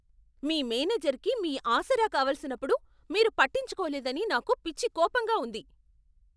మీ మేనేజర్కి మీ ఆసరా కావలసినప్పుడు మీరు పట్టించుకోలేదని నాకు పిచ్చి కోపంగా ఉంది.